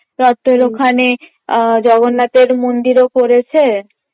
রথের ওখানে জগন্নাথের মন্দিরও করেছে